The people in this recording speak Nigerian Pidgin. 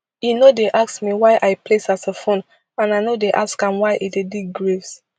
e no dey ask me why i play saxophone and i no dey ask am why e dey dig graves